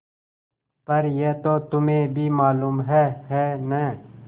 पर यह तो तुम्हें भी मालूम है है न